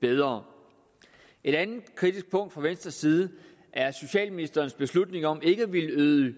bedre et andet kritisk punkt fra venstres side er socialministerens beslutning om ikke at ville yde